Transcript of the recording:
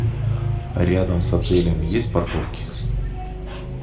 рядом с отелем есть парковки